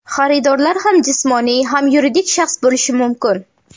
Xaridorlar ham jismoniy, ham yuridik shaxs bo‘lishi mumkin.